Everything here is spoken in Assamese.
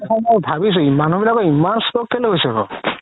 ভাবিছো মানুহ বিলাকৰ ইমান stroke কে'লে হৈছে বাৰু